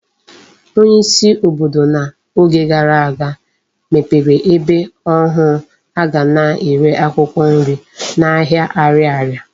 Onye isi obodo na Oge gara aga mepere ebe ohu aga na ere akwukwo nri na ahia Ariaria